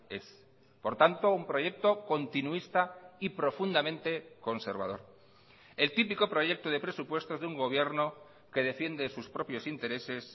ez por tanto un proyecto continuista y profundamente conservador el típico proyecto de presupuestos de un gobierno que defiende sus propios intereses